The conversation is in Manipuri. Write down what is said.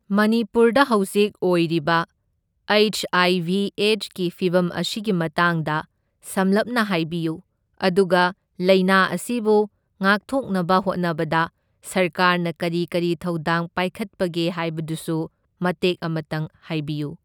ꯃꯅꯤꯄꯨꯔꯗ ꯍꯧꯖꯤꯛ ꯑꯣꯏꯔꯤꯕ ꯍꯩꯁ ꯑꯥꯏ ꯚꯤ ꯑꯦꯗꯁꯀꯤ ꯐꯤꯚꯝ ꯑꯁꯤꯒꯤ ꯃꯇꯥꯡꯗ ꯁꯝꯂꯞꯅ ꯍꯥꯏꯕꯤꯌꯨ, ꯑꯗꯨꯒ ꯂꯥꯢꯅꯥ ꯑꯁꯤꯕꯨ ꯉꯥꯛꯊꯣꯛꯅꯕ ꯍꯣꯠꯅꯕꯗ ꯁꯔꯀꯥꯔꯅ ꯀꯔꯤ ꯀꯔꯤ ꯊꯧꯗꯥꯡ ꯄꯥꯏꯈꯠꯄꯒꯦ ꯍꯥꯏꯕꯗꯨꯁꯨ ꯃꯇꯦꯛ ꯑꯃꯇꯪ ꯍꯥꯏꯕꯤꯌꯨ꯫